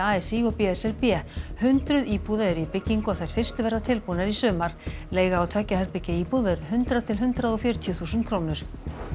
a s í og b s r b hundruð íbúða eru í byggingu og þær fyrstu verða tilbúnar í sumar leiga á tveggja herbergja íbúð verður hundrað til hundrað og fjörutíu þúsund krónur